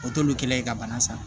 O t'olu kɛlɛ ye ka bana san